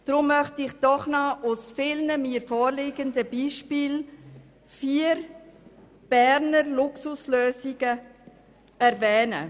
Deshalb möchte ich doch noch aus vielen mir vorliegenden Beispielen vier Berner Luxuslösungen erwähnen.